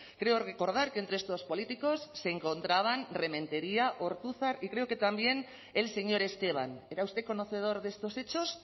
creo recordar que entre estos políticos se encontraban rementeria ortuzar y creo que también el señor esteban era usted conocedor de estos hechos